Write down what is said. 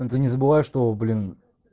да не забывай что блин